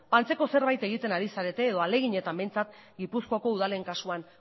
antzeko zerbait egiten ari zarete edo ahaleginetan behintzat gipuzkoako udalen kasuan